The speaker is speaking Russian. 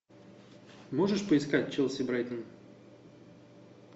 можешь поискать челси брайтон